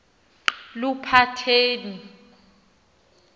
luphatheni